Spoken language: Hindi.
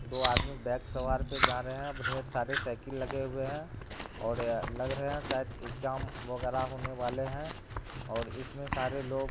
दो अदमी बाइक सवार पे जा रहें हैं ढ़ेर सारे साइकिल लगे हुए हैं और लग रहा हैं शायद एग्जाम वगैरा होने वाले हैं और इसमें सारे लोग --